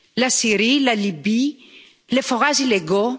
La Syrie, la Libye, les forages illégaux...